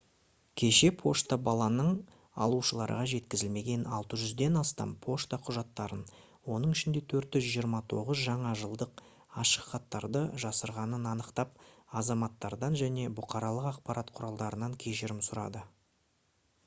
кеше пошта баланың алушыларға жеткізілмеген 600-ден астам пошта құжаттарын оның ішінде 429 жаңа жылдық ашықхаттарды жасырғанын анықтап азаматтардан және бұқаралық ақпарат құралдарынан кешірім сұрады